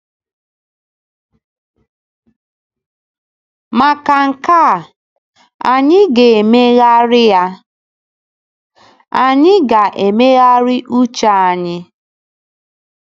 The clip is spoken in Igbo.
Maka nke a, anyị ga-emegharị a, anyị ga-emegharị uche anyị.